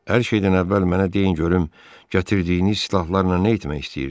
Hər şeydən əvvəl mənə deyin görüm, gətirdiyiniz silahlarla nə etmək istəyirdiz?